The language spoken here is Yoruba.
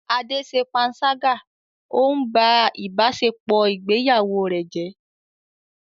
Ade ṣe panṣágà, ó ń ba ìbáṣepọ̀ ìgbéyàwó rẹ̀ jẹ́.